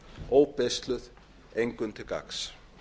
óbeisluð engum til gagns